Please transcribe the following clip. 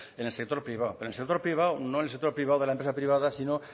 en el sector privado en el sector privado no en el sector privado de las empresas privadas sino